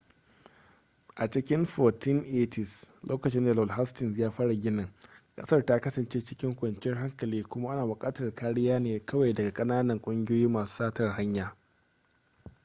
a cikin 1480s lokacin da lord hastings ya fara ginin ƙasar ta kasance cikin kwanciyar hankali kuma ana buƙatar kariya ne kawai daga ƙananan ƙungiyoyin masu satar hanya